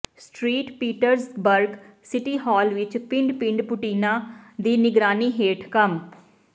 street Petersburg city hall ਵਿਚ ਪਿੰਡ ਪਿੰਡ ਪੁਟੀਨਾ ਦੀ ਨਿਗਰਾਨੀ ਹੇਠ ਕੰਮ